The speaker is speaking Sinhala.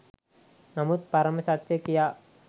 නමුත් පරම සත්‍ය කියා